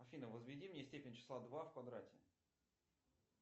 афина возведи мне степень числа два в квадрате